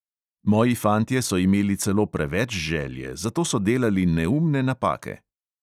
Moji fantje so imeli celo preveč želje, zato so delali neumne napake.